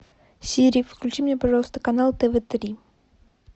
сири включи мне пожалуйста канал тв три